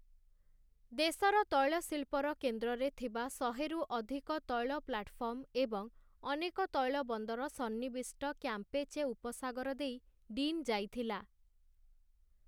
ଦେଶର ତୈଳଶିଳ୍ପର କେନ୍ଦ୍ରରେ ଥିବା ଶହେ ରୁ ଅଧିକ ତୈଳ ପ୍ଲାଟଫର୍ମ ଏବଂ ଅନେକ ତୈଳ ବନ୍ଦର ସନ୍ନିବିଷ୍ଟ କ୍ୟାମ୍ପେଚେ ଉପସାଗର ଦେଇ ଡିନ୍‌ ଯାଇଥିଲା ।